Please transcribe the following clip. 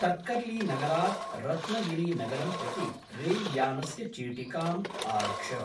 तर्कर्लीनगरात् रत्नगिरीनगरं प्रति रेल्यानस्य चीटिकाम् आरक्ष।